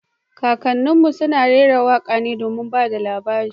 Kakannin mu sun rera waka domin ba da labari